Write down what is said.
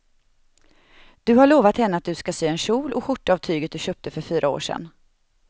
Du har lovat henne att du ska sy en kjol och skjorta av tyget du köpte för fyra år sedan.